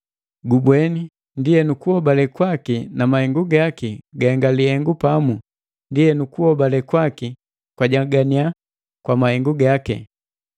Gubweni, ndienu kuhobale kwaki na mahengu gaki gahenga lihengu pamu ndienu kuobale kwaki kwajaganiya kwa mahengu gaki.